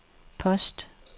post